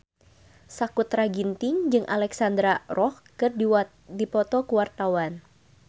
Sakutra Ginting jeung Alexandra Roach keur dipoto ku wartawan